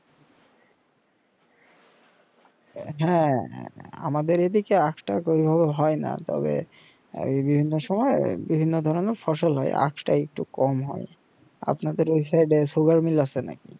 হ্যাঁ আমাদের এই দিকে আখ তা সেই ভাবে হয় না তবে বিভিন্ন সময় বিভিন্ন ধরণের ফসল হয় এই আখ তা একটু কম হয় আপনাদের এই side এ sugar mill আছে নাকি